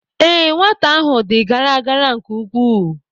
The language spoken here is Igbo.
Ee, nwata ahụ dị gara gara nke ukwuu